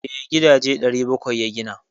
Eh, gidaje 700 ya gina.